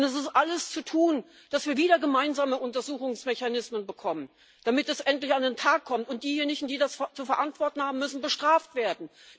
Und es ist alles zu tun, dass wir wieder gemeinsame Untersuchungsmechanismen bekommen, damit es endlich an den Tag kommt, und diejenigen, die das zu verantworten haben, müssen bestraft werden.